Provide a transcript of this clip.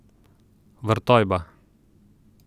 Vrtojba.